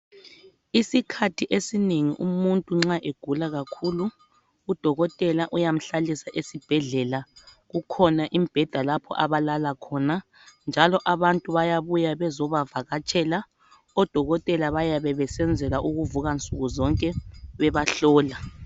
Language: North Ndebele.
Isikhathi esinengi umuntu nxa egula kakhulu udokotela uyamhlalisa esibhedlela kukhona imbheda lapho abalala khona njalo abantu bayabuya bezobavakatshela, odokotela bayabe besenzela ukuvuka nsukuzonke bebahlola.